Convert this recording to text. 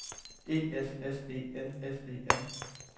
E S S E N S E N